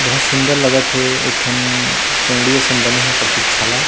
बहुत सुन्दर लागत हे ए ठन चौड़ी असन बने हे पप्रतीक्षालय--